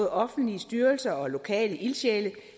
offentlige styrelser og lokale ildsjæle